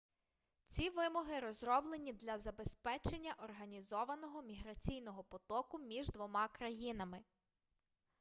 ці вимоги розроблені для забезпечення організованого міграційного потоку між двома країнами